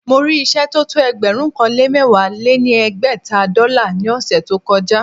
Mo rí ìṣẹ́ tó tó ẹgbẹ̀rún kan lé mẹ̀wá lé ní ẹgbẹ́ta dọ́là ní ọ̀ṣẹ̀ tó kọ já